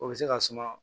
O bɛ se ka suma